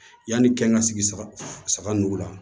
Yanni kɛn ka sigi saga saga nugu la